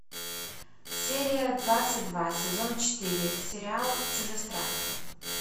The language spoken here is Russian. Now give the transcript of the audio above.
серия двадцать два сезон четыре сериал чужестранка